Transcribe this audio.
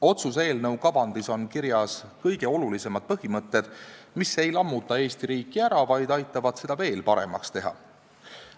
Otsuse eelnõu kavandis on kirjas kõige olulisemad põhimõtted, mis ei lammuta Eesti riiki ära, vaid aitavad seda veel paremaks teha.